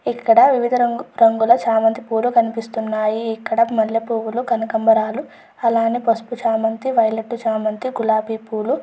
ఇక్కడ వివిధ రంగు రంగులా చామంతి పువ్వులు కనిపిస్తూ ఉన్నాయి. ఇక్కడ మల్లె పువ్వులు కనకంబరాలు అలాగే పసుపు చామంతి పువ్వులు వైలెట్ చామంతి గులాబీ పువ్వులు--